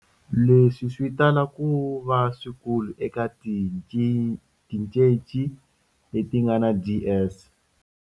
Leswi swi tala ku va swikulu eka tincece leti nga na DS.